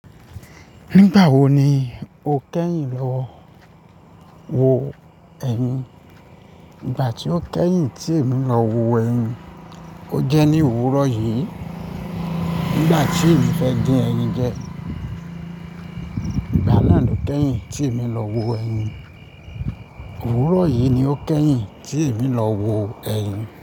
Nígbà wo ni o kẹ́yìn lọ wo ẹyin? Ìgbà tí ó kẹ́yìn tí èmi lọ wo ẹyin. Ó jẹ́ ní òwúrọ̀ yìí. Nígbà tí èmi fẹ́ dín ẹyin jẹ. Ìgbà náà lo kẹ́yìn tí èmi lọ wo ẹyin. Òwúrọ̀ yìí ni ó kẹ́yìn tí èmi lọ wo ẹyin.